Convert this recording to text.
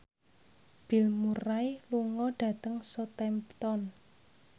Bill Murray lunga dhateng Southampton